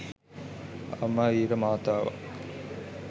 අම්ම වීර මාතාවක්